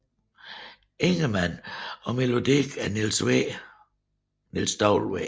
Ingemann og melodi af Niels W